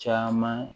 Caman